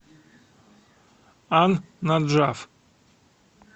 ан наджаф